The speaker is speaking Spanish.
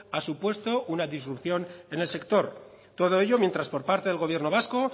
ha supuesto una disrupción en el sector todo ello mientras por parte del gobierno vasco